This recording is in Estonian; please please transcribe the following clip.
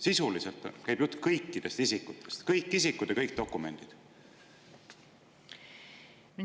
Sisuliselt käib jutt kõikidest isikutest ja kõikidest dokumentidest.